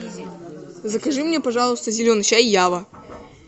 закажи мне пожалуйста зеленый чай ява